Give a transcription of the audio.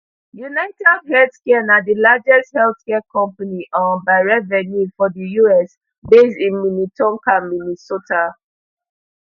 unitedhealthcare na di largest health care company um by revenue for di us based in minnetonka minnesota